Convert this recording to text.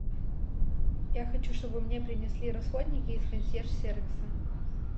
я хочу чтобы мне принесли расходники из консьерж сервиса